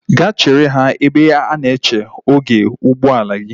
Ga chere ha ebe a na-eche oge ụgbọala gi!